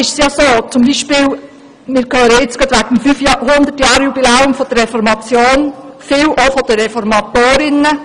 Wir hören im Moment viel vom 500-Jahr-Jubiläum der Reformation, und auch viel von den Reformatorinnen.